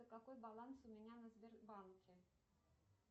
какой баланс у меня на сбербанке